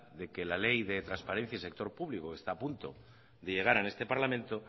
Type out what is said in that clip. de que la ley de transparencia en el sector público que está a punto de llegar a este parlamento